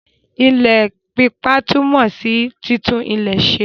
Ile pípa túmò sí títún ilẹ̀ ṣe.